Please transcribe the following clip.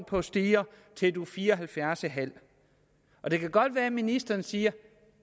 på stiger til du er fire og halvfjerds en halv år det kan godt være ministeren siger